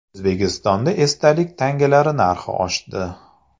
O‘zbekistonda esdalik tangalar narxi oshdi.